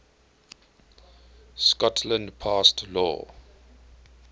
scotland passed law